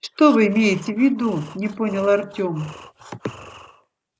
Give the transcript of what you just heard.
что вы имеете в виду не понял артём